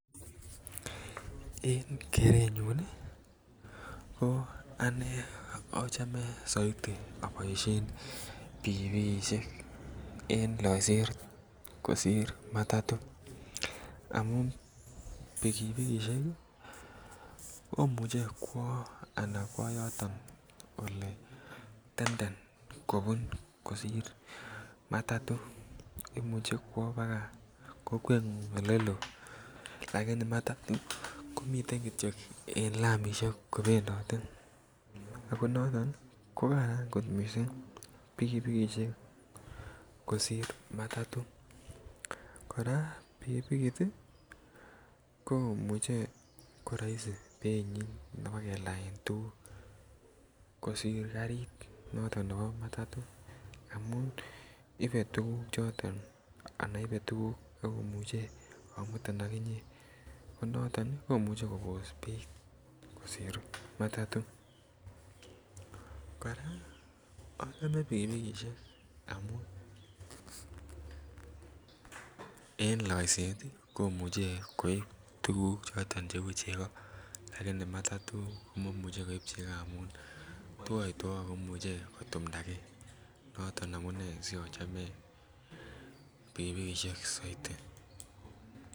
En kerenyun nii ko anee ochome soiti oboishen pikipilishek en loiset kosir matatu amun pikipikishek kii komuche kwo yoton anan kwo yoton oletenden kobun kosir matato imuche kwo baka kokweng'uny oleloo lakini matato komiten kityok en lamishek kopendotet ako noton ko Karan kot missing' pikipikishek kosir matato. Koraa pikipikit tii komuche koroisi beinyin nebo kelaen tukuk kosir karit noton nebo matato amu ibe tukuk anan ibe tukuk ak komuche kimutin AK inyee ko noton Nii komuche kobos beit kosir matato. Koraa ochome pikipikishek amun en loiset tii komuche koib tukuk choton cheu cheko lakini matato komomuche koib cheko amun twoitwou ako imuche kotumdagee noton amunee si ochome pikipikishek soiti.